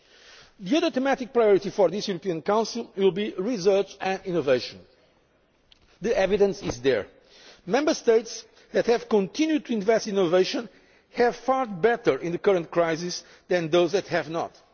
The other thematic priority for this European Council will be research and innovation. The evidence is there Member States that have continued to invest in innovation have fared better in the current crisis than those that have